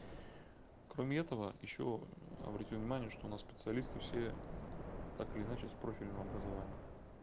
кроме этого ещё обрати внимание что у нас специалисты все так или иначе с профильным образованием